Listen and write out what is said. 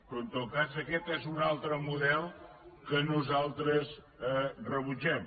però en tot cas aquest és un altre model que nosaltres rebutgem